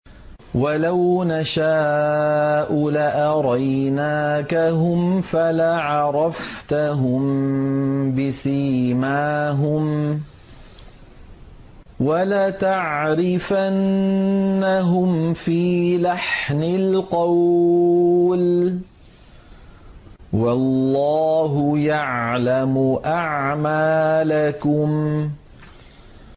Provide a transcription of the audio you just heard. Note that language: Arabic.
وَلَوْ نَشَاءُ لَأَرَيْنَاكَهُمْ فَلَعَرَفْتَهُم بِسِيمَاهُمْ ۚ وَلَتَعْرِفَنَّهُمْ فِي لَحْنِ الْقَوْلِ ۚ وَاللَّهُ يَعْلَمُ أَعْمَالَكُمْ